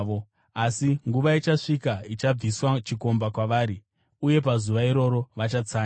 Asi nguva ichasvika ichabviswa chikomba kwavari, uye pazuva iroro vachatsanya.